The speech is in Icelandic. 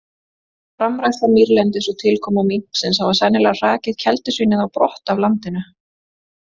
Framræsla mýrlendis og tilkoma minksins hafa sennilega hrakið keldusvínið á brott af landinu.